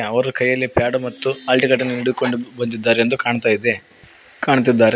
ಅವರು ಕೈಯಲ್ಲಿ ಪ್ಯಾಡ್ ಮತ್ತು ಆಲ್ಟಿನೇಟರ್ ನು ಹಿಡಿದುಕೊಂಡು ಬಂದಿದ್ದಾರೆ ಎಂದು ಕಾಣ್ತಾ ಇದೆ ಕಾಣ್ತಿದ್ದಾರೆ.